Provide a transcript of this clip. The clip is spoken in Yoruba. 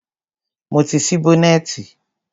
Mo ti ṣí bọ́nẹ̀tì.